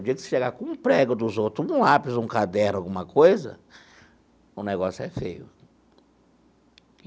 O dia que você chegar com um prego dos outros, um lápis, um caderno, alguma coisa, o negócio é feio.